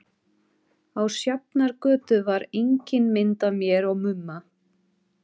Á Sjafnargötu var engin mynd af mér og Mumma.